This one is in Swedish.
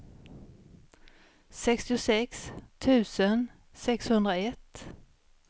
sextiosex tusen sexhundraett